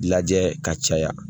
Lajɛ ka caya